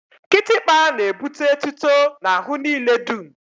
Kịtịkpa n'ebute etuto n'ahụ niile dum